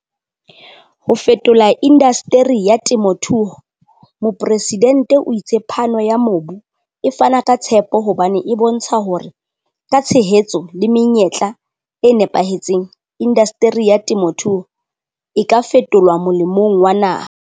Ho fetola indasteri ya temothuo Mopresidente o itse phano ya mobu e fana ka tshepo hobane e bontsha hore ka tshehetso le menyetla e napahetseng, indasteri ya temothuo e ka fetolwa molemong wa naha.